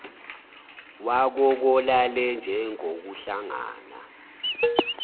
wako kolalele njengokuhlangana